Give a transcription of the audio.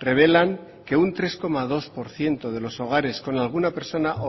revelan que un tres coma dos por ciento de los hogares con alguna persona